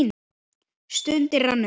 Stundin rann upp.